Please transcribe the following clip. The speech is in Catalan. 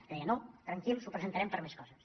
jo deia no tranquils ho presentarem per més coses